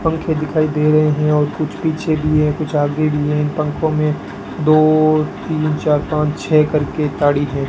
पंखे दिखाई दे रहे हैं और कुछ पीछे भी हैं कुछ आगे भी हैं पंखो में दो तीन चार पांच छह करके ताड़ी हैं।